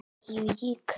í Vík.